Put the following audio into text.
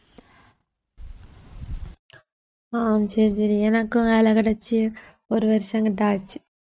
அஹ் சரி சரி எனக்கும் வேலை கிடைச்சு ஒரு வருஷம் கிட்ட ஆச்சு